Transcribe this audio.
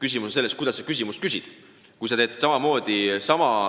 Asi on aga selles, kuidas küsimused on esitatud.